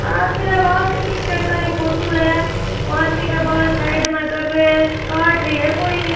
आदमी रा बाल कटिंग करता री फोटो है आदमी का बाल साइड में कर रे है काट रा है कोई ये।